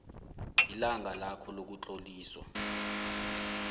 ilanga lakho lokutloliswa